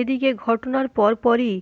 এদিকে ঘটনার পরপরই